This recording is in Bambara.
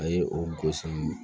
A ye o gosi